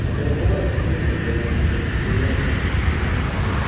оборвалась струнка в голове звенела